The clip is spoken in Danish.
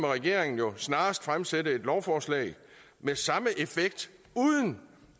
regeringen snarest fremsætte et lovforslag med samme effekt uden